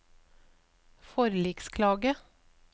forliksklage